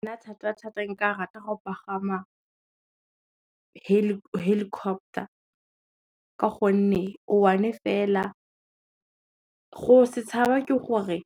Nna thata thata e nka rata go pagama helicopter, ka gonne o one fela. Go se tshaba ke gore,